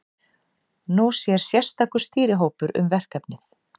Nú sér sérstakur stýrihópur um verkefnið.